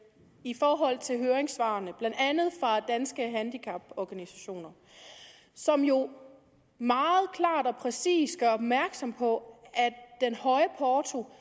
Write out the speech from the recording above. i forhold til høringssvarene blandt andet fra danske handicaporganisationer som jo meget klart og præcist gør opmærksom på at den høje porto